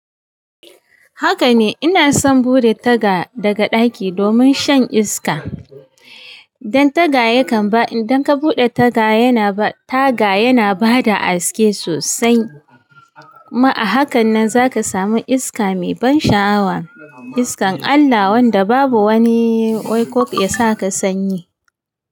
Haka ne, ina son buɗe taga daga ɗaki domin shan iska. Dan taga yakan ba, idan ka buɗe taga yana ba, taga yana ba da haske sosai. Ma a hakan nan za ka sami iska mai ban sha'awa, iskar Allah wanda babu wani waikok ya sa ka sanyi.